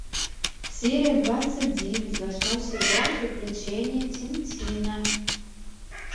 серия двадцать девять восьмой сезон приключения тинтина